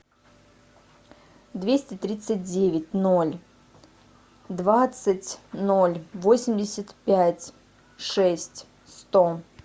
двести тридцать девять ноль двадцать ноль восемьдесят пять шесть сто